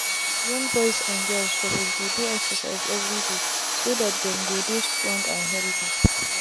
young boys and girls suppose dey do excercise everydayso that them go dey strong and healthy.